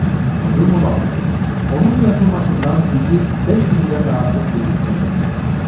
Unudulmamalıdır ki, onun yazılmasından bizi 500 ildən də artıq bir müddət ayırır.